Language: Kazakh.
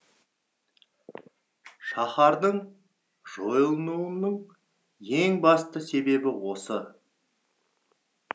шаһардың жойылуының ең басты себебі осы